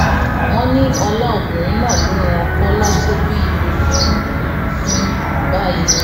wọn ní ọlá obìnrin náà ló rán kọlá tó bí ire fún fún báyìí